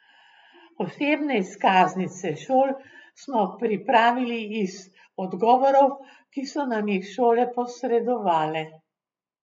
Osebne izkaznice šol smo pripravili iz odgovorov, ki so nam jih šole posredovale.